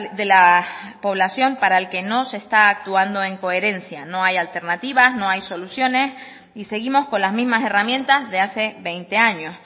de la población para el que no se está actuando en coherencia no hay alternativas no hay soluciones y seguimos con las mismas herramientas de hace veinte años